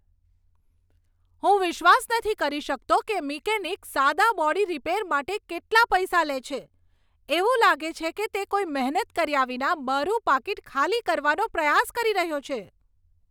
હું વિશ્વાસ નથી કરી શકતો કે મિકેનિક સાદા બોડી રિપેર માટે કેટલા પૈસા લે છે! એવું લાગે છે કે તે કોઈ મહેનત કર્યા વિના મારું પાકીટ ખાલી કરવાનો પ્રયાસ કરી રહ્યો છે.